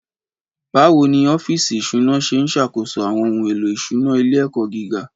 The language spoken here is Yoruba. Báwo ni ọ́fíìsì ìṣúná ṣe ń ṣàkóso àwọn ohun èlò ìṣúná ilé-ẹ̀kọ́ gíga?